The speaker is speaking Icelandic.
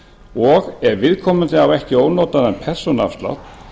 og ef viðkomandi á ekki ónotaðan persónuafslátt